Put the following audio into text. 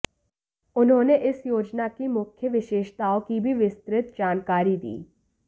उन्होंने इस योजना की मुख्य विशेषताओं की भी विस्तृत जानकारी दी